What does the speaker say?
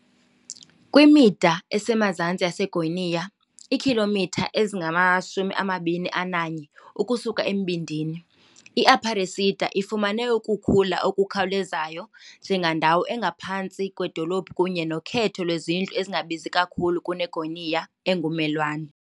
kwimida esemazantsi yeGoiânia, iikhilomitha ezingama-21 ukusuka embindini, i-Aparecida ifumene ukukhula okukhawulezayo njengendawo engaphantsi kwedolophu kunye nokhetho lwezindlu ezingabizi kakhulu kuneGoiânia engummelwane.